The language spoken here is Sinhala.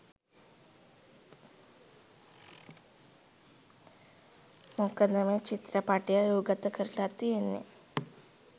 මොකද මේ චිත්‍රපටය රූගතකරලා තියෙන්නෙ